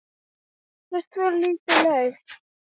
Hvert fór lítið lauf?